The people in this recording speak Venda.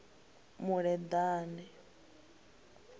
muleḓane